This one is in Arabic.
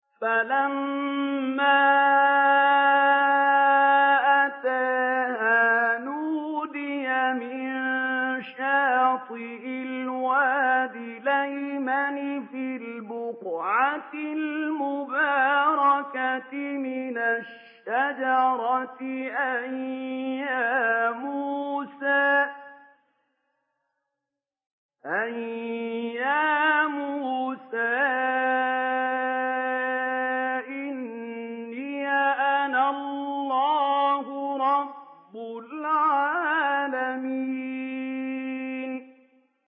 فَلَمَّا أَتَاهَا نُودِيَ مِن شَاطِئِ الْوَادِ الْأَيْمَنِ فِي الْبُقْعَةِ الْمُبَارَكَةِ مِنَ الشَّجَرَةِ أَن يَا مُوسَىٰ إِنِّي أَنَا اللَّهُ رَبُّ الْعَالَمِينَ